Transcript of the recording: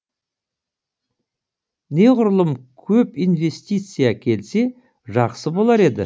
неғұрлым көп инвестиция келсе жақсы болар еді